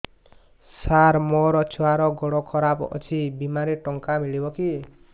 ସାର ମୋର ଛୁଆର ଗୋଡ ଖରାପ ଅଛି ବିମାରେ ଟଙ୍କା ମିଳିବ କି